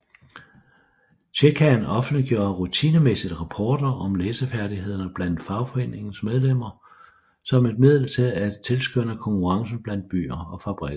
Tjekaen offentliggjorde rutinemæssigt rapporter om læsefærdighederne blandt fagforeningernes medlemmer som et middel til at tilskynde konkurrencen blandt byer og fabrikker